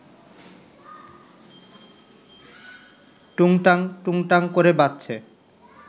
টুংটাং টুংটাং ক’রে বাজছে